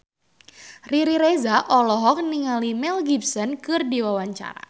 Riri Reza olohok ningali Mel Gibson keur diwawancara